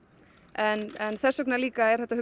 en þess vegna líka er þetta